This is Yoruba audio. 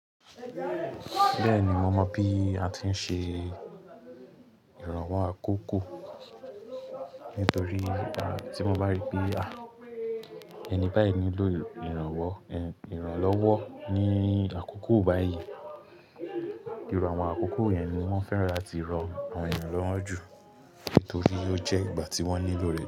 Bẹ́ẹ̀ni, mo mọ bí a ti ń ṣe ìrànwọ́ àkókò nítorí tí mo bá rí pé, ẹni báyìí nílò ìrànlọ́wọ́ ní àkókò báyìí, ìru àwọn àkókò yẹn ni wọ́n fẹ́ràn láti rọ àwọn eeyàn lọ́wọ́ jù nítorí ó jẹ́ ìgbà tí wọ́n nílò rẹ̀